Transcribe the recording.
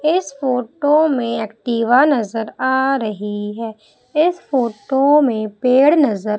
इस फोटो में एक्टिवा नजर आ रही है इस फोटो में पेड़ नजर--